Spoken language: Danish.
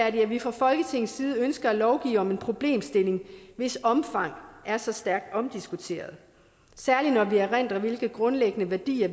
at vi fra folketingets side ønsker at lovgive om en problemstilling hvis omfang er så stærkt omdiskuteret særlig når vi erindrer hvilke grundlæggende værdier